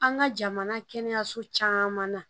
An ka jamana kɛnɛyaso caman na